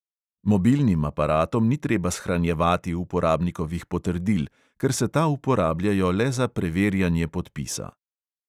Mobilnim aparatom ni treba shranjevati uporabnikovih potrdil, ker se ta uporabljajo le za preverjanje podpisa.